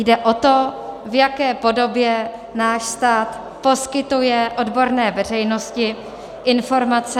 Jde o to, v jaké podobě náš stát poskytuje odborné veřejnosti informace...